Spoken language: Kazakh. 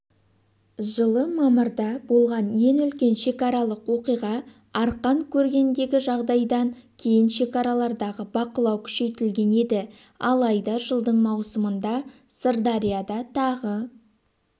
жылы мамырда болған ең үлкен шекаралық оқиға арқан кергендегі жағдайдан кейін шекаралардағы бақылау күшейтілген еді алайда жылдың маусымында сырдарияда тағы